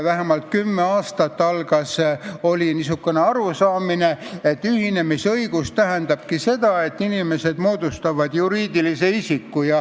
Vähemalt kümme aastat oli niisugune arusaam, et ühinemisõigus tähendabki seda, et inimesed moodustavad juriidilise isiku.